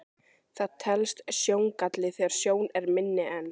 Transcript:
Það telst sjóngalli þegar sjón er minni en